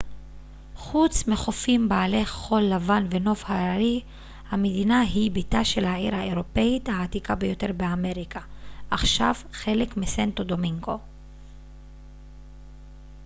חוץ מחופים בעלי חול לבן ונוף הררי המדינה היא ביתה של העיר האירופאית העתיקה ביותר באמריקה עכשיו חלק מסנטו דומינגו